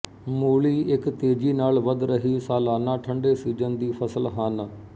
ਮੂਲੀ ਇੱਕ ਤੇਜ਼ੀ ਨਾਲ ਵਧ ਰਹੀ ਸਾਲਾਨਾ ਠੰਡੇਸੀਜ਼ਨ ਦੀ ਫਸਲ ਹਨ